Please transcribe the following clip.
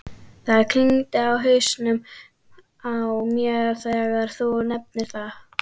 Það klingdi í hausnum á mér þegar þú nefndir það.